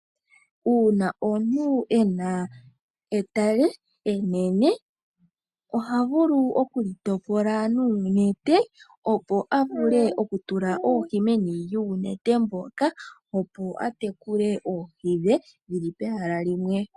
Uuna omuntu ena etale enene ohavulu okuli topola nuunete, opo avule oku tula oohi meni lyuunete mboka. Opo atekule oohi dhe dhili pehala limwe.